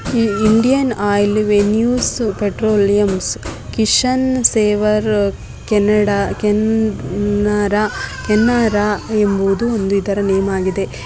Indian Oil ವೇಣುಸ್ petroleums Kishan ಸೇವ Canada ಕೇನಾರ ಕೆನರಾ ಎಂಬುವುದು ಇದರ ಒಂದು ನೇಮ್ ಹಾಗಿದೆ.